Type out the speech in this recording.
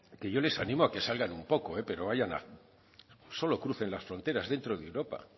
que yo les animo a que salgan un poco solo crucen las fronteras dentro de europa